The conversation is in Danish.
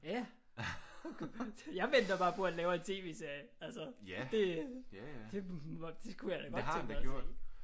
Ja. Jeg venter bare på at han laver en tv-serie altså det det kunne jeg da godt tænke mig at se